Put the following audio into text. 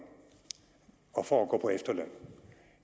og for at gå på efterløn